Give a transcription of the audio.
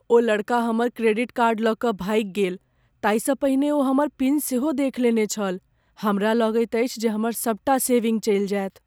ओ लड़का हमर credit card लऽ कऽ भागि गेल। ताहिसँ पहिने ओ हमर पिन सेहो देख लेने छल। हमरा लगैत अछि जे हमर सबटा सेविंग चलि जायत।